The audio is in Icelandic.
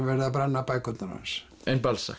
verið að brenna bækurnar hans